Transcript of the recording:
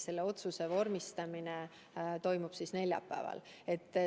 Selle otsuse vormistamine toimub neljapäeval.